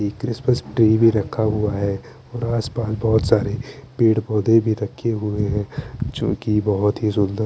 एक Christmas tree भी रखा हुआ है और आस पास बोहोत सारे पेड़ पोधे भी रखे हुए है जो की बोहोत ही सुन्दर --